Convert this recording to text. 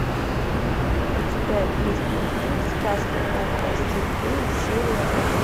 у тебя есть мультфильм сказка о хвосте феи серия один